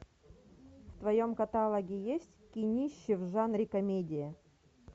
в твоем каталоге есть кинище в жанре комедия